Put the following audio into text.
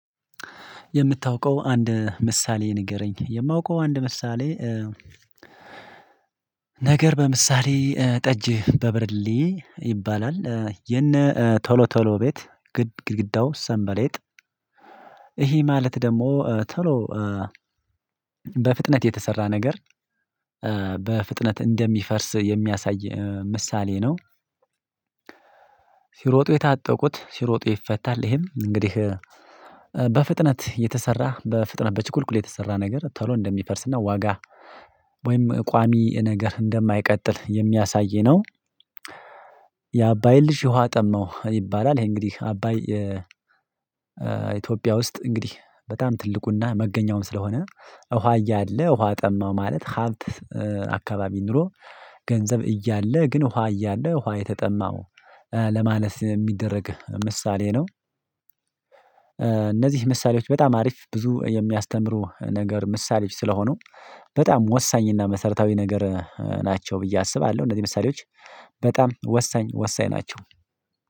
የምታውቀው አንድ ምሳሌ ንገረኝ? የማውቀው አንድ ምሳሌ ነገር በምሳሌ ጠጅ በብርሌ ይባላል የነ ቶሎ ቶሎ ቤት ግድግዳው ሰንበሌጥ ይሄ ማለት ደግሞ ቶሎ በፍጥነት የተሰራ ነገር በፍጥነት እንደሚፈርስ የሚያሳይ ምሳሌ ነው። ሲሮጡ የታጠቁት ሲሮጡ ይፈታል ይሄም እንግዲህ በፍጥነት የተሰራ በፍጥነት በችኩልኩል የተሰራ ነገር ቶሎ እንደሚፈርስና ዋጋ ወይም ቋሚ ነገር እንደማይቀጥል የሚያሳይ ነው። የአባይን ልጅ ውሃ ጠመው ይባላል ይሄ እንግዲህ አባይ ኢትዮጵያ ውስጥ እንግዲህ በጣም ትልቁና መገኛውም ስለሆነ ውሃ እያለ ውሃ ጠማው ማለት ሀብት አካባቢ ኖሮ ገንዘብ እያለ ግን ውሃ እያለ ውሃ የተጠማው ለማለት የሚደረግ ምሳሌ ነው። እነዚህ ምሳሌዎች በጣም አሪፍ ብዙ የሚያስተምሩ ነገር ምሳሌዎች ስለሆኑ በጣም ወሳኝ እና መሰረታዊ ነገር ናቸው ብዬ አስባለሁ እነዚህ ምሳሌዎች በጣም ወሳኝ ወሳኝ ናቸው።